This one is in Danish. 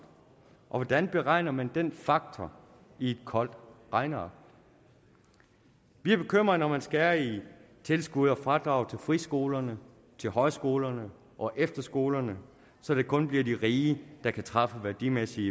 hvordan beregner man den faktor i et koldt regneark vi er bekymrede når man skærer i tilskud og fradrag til friskolerne til højskolerne og efterskolerne så det kun bliver de rige der kan træffe værdimæssige